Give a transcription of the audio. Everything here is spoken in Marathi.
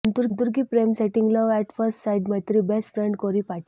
संतुर्कि प्रेम setting love at first sight मेत्री बेस्ट फ्रेंड कोरी पाटी